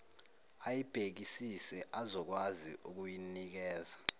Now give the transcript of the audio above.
ayibhekisise azokwazi ukuyinikeza